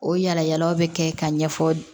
O yala yalaw bɛ kɛ ka ɲɛfɔ